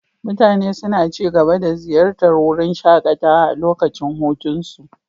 Mutane suna ci gaba da ziyartar wurin shakatawa a lokacin hutunsu.